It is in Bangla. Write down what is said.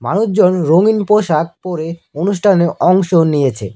আরেকজন রঙিন পোষাক পরে অনুষ্ঠানে অংশ নিয়েছে।